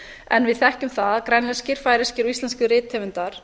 en við þekkjum það að grænlenskir færeyskir og íslenskir rithöfundar